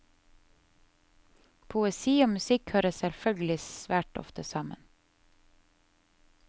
Poesi og musikk hører selvfølgelig svært ofte sammen.